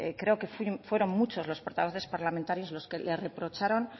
creo que fueron muchos los portavoces parlamentarios los que le reprocharon